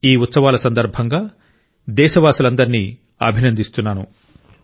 ఈ ఉత్సవాల సందర్భంగా దేశవాసులందరినీ అభినందిస్తున్నాను